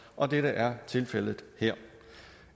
og dette er tilfældet her